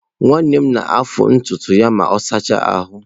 Nwanne m na-afụ ntutu ya ma ọ sachaa ahụ.